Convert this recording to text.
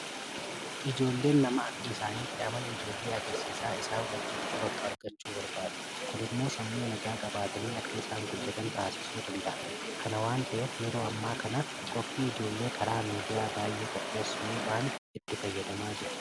Ijoolleen nama akka isaaniitti amala ijoollee agarsiisaa isaan wajjin taphatu argachuu barbaadu. Kun immoo sammuu nagaa qabaatanii akka isaan guddatan taasisuu danda'a. Kana waanta ta'eef yeroo ammaa kana qophii ijoollee karaa miidiyaa baay'ee qopheessuudhaan itti fayyadamaa jiru.